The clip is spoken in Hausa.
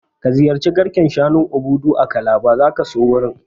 Ka ziyarci garken shanun Obudu a Calabar, zaka so wurin